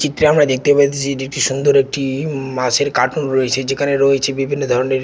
চিত্রে আমরা দেখতে পাইতেসি এটি একটি সুন্দর একটি-ই মাছের কার্টন রয়েছে যেখানে রয়েছে বিভিন্ন ধরনের--